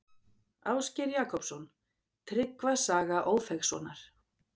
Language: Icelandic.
Ásgeir Jakobsson: Tryggva saga Ófeigssonar.